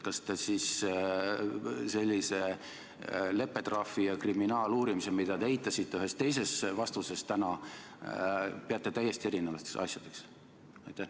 Kas te siis leppetrahvi ja kriminaaluurimist, mida te eitasite ühes teises vastuses täna, peate täiesti erinevateks asjadeks?